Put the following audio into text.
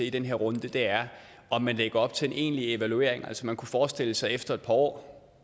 i den her runde er om man lægger op til en egentlig evaluering altså man kunne forestille sig at efter et par år